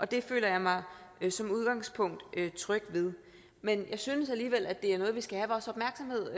det føler jeg mig som udgangspunkt tryg ved men jeg synes alligevel at det er noget vi skal have vores opmærksomhed